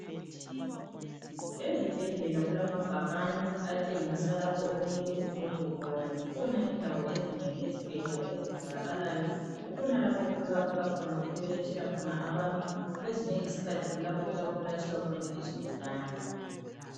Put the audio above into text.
Ezibhedlela kulama bhakani atshengisa lapho okumele uqonde khona. Zikhona indawo ezinengi ezibhedlela ezitholakalayo. Kukhona lapho okutholakala khona, okubelethela khona abantu. Kwezinye izikhathi kulapho okuyabe kulatshelwa khona izigulane.